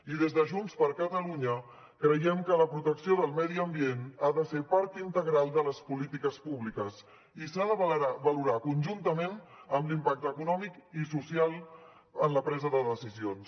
i des de junts per catalunya creiem que la protecció del medi ambient ha de ser part integral de les polítiques públiques i s’ha de valorar conjuntament amb l’impacte econòmic i social en la presa de decisions